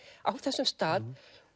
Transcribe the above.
á þessum stað